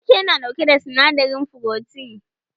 Wake na ɗauke da sinadarin furotin